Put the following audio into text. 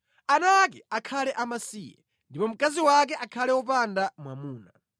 Ana ake akhale amasiye ndipo mkazi wake akhale wopanda mwamuna.